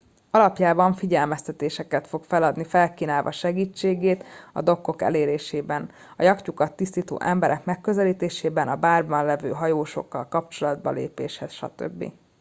alapjában figyelmeztetéseket fog feladni felkínálva segítségét a dokkok elérésében a yachtjukat tisztító emberek megközelítésében a bárban lévő hajósokkal kapcsolatba lépéshez stb